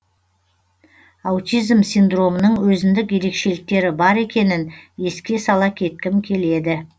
аутизм синдромының өзіндік ерекшеліктері бар екенін еске сала кеткім келеді